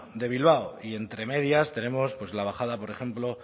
de bilbao y entre medias tenemos pues la bajada por ejemplo